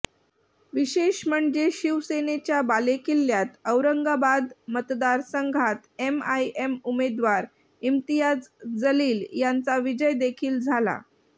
विशेष म्हणजे शिवसेनेच्या बालेकिल्ल्यात औरंगाबाद मतदारसंघात एमआयएम उमेदवार इम्तियाज जलील यांचा विजय देखील झाला